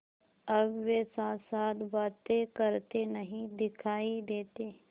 अब वे साथसाथ बातें करते नहीं दिखायी देते